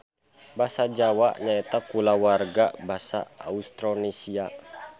Basa Jawa nyaeta kulawarga basa Austronesia